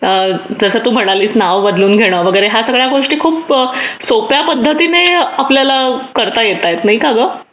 करण जसं तू म्हणालीस नाव बदलून घेणे या सगळ्या खूप सोप्या पद्धतीने आपल्याला करता येतात नाही का ग